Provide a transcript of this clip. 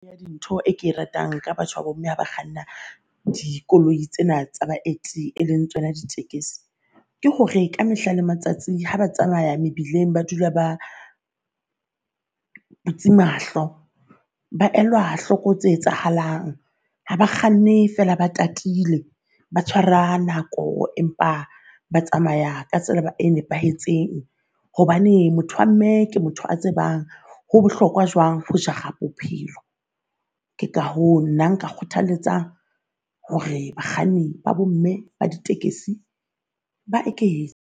Ya dintho e ke ratang ka batho babo mme ha ba kganna dikoloi tsena tsa baeti, e leng tsona di tekesi. Ke hore ka mehla le matsatsi ha ba tsamaya mebileng ba dula ba butsi mahlo ba elwa hloko tse etsahalang. Ha ba kganne fela ba tatile, ba tshwara nako empa ba tsamaya ka tsela e nepahetseng. Hobane motho wa mme ke motho a tsebang ho bohlokwa jwang ho jara bophelo. Ke ka ho nna nka kgothaletsa hore bakganni ba bomme ba ditekesi ba e ketswe.